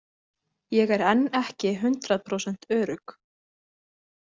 Ég er enn ekki hundrað prósent örugg.